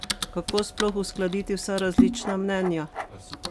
Kako sploh uskladiti vsa različna mnenja?